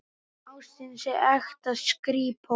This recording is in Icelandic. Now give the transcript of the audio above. Nema ástin sé ekta skrípó.